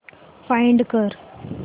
find कर